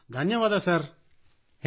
ಧನ್ಯವಾದ sir thank you sir